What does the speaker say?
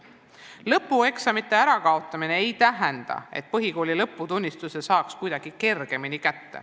Lõpueksamite kaotamine ei tähenda seda, et põhikooli lõputunnistuse saaks kätte kuidagi kergemini.